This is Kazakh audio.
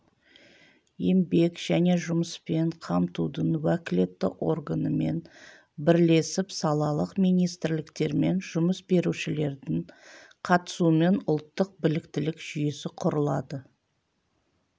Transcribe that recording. еңбек және жұмыспен қамтудың уәкілетті органымен бірлесіп салалық министрліктер мен жұмыс берушілердің қатысуымен ұлттық біліктілік жүйесі құрылады